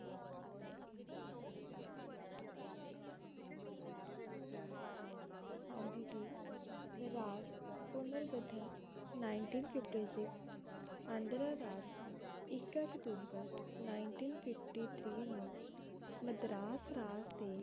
ਹਾਂਜੀ ਜੀ ਰਾਜ ਪੁਨਰ ਗਠਨ ninteen fifty six ਆਂਧਰਾ ਰਾਜ ਇੱਕ ਅਕਤੂਬਰ ninteen fifty three ਨੂੰ ਮਦਰਾਸ ਰਾਜ ਦੇ